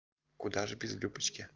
куда же без любочки